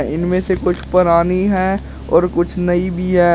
इनमें से कुछ पुरानी है और कुछ नई भी है।